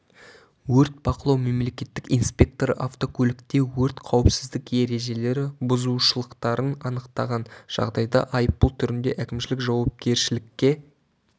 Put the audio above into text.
өрт бақылау мемлекеттік инспекторы автокөлікте өрт қауіпсіздік ережелері бұзушылықтарын анықтаған жағдайда айыппұл түрінде әкімшілік жауапкершілікке